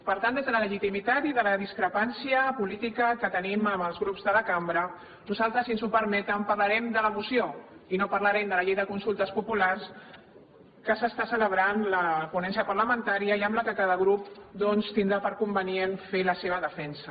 per tant des de la legitimitat i de la discrepància política que tenim amb els grups de la cambra nosaltres si ens ho permeten parlarem de la moció i no parlarem de la llei de consultes populars de la qual s’està celebrant la ponència parlamentària i amb la qual cada grup doncs tindrà per convenient fer la seva defensa